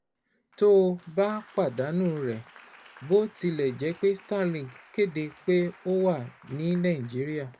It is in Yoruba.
Tó o bá pàdánù rẹ̀: Bó tilẹ̀ jẹ́ pé Starlink kéde pé ó wà ní Nàìjíríà